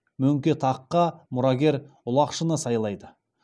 мөңке таққа мұрагер ұлақшыны сайлайды